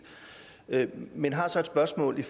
men jeg har så et spørgsmål